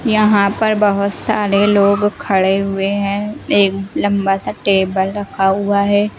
यहाँ पर बहुत सारे लोग खड़े हुए हैं एक लंबा सा टेबल रखा हुआ है।